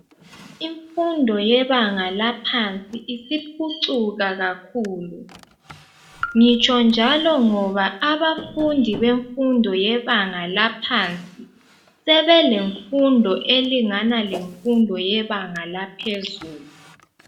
Imfundo yebanga laphansi isiphucuka kakhulu. Ngitsho njalo ngoba abafundi bemfundo yebanga laphansi sebelemfundo elingana lemfundo yebanga laphezulu.